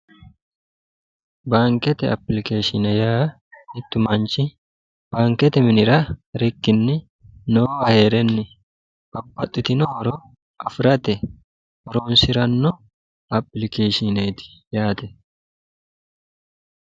baankete apilikeeshine yaa mittu maanchi baankete minira rikkinni noo a hee'renni baphaxxitinohoro afi'rate oroonsi'ranno apilikeeshineeti yaate